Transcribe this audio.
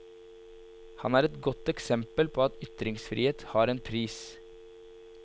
Han er et godt eksempel på at ytringsfrihet har en pris.